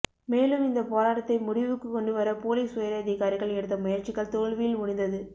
மேலும் இந்த போராட்டத்தை முடிவுக்கு கொண்டுவர போலீஸ் உயரதிகாரிகள் எடுத்த முயற்சிகள் தோல்வியில் முடிந்தது